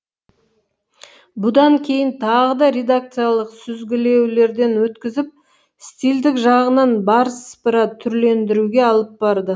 бұдан кейін тағы да редакциялық сүзгілеулерден өткізіп стильдік жағынан бар сыпыра түрлендіруге алып барды